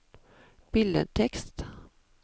billedtekst